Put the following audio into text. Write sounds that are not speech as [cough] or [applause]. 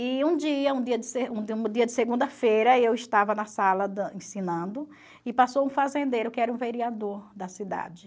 E um dia, um dia de [unintelligible] um dia de segunda-feira, eu estava na sala [unintelligible] ensinando e passou um fazendeiro que era um vereador da cidade.